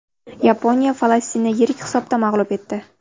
Yaponiya Falastinni yirik hisobda mag‘lub etdi.